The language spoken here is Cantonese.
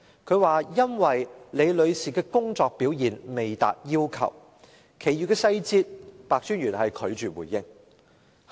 他說，因為李女士的工作表現未達要求，其餘細節白專員拒絕回應。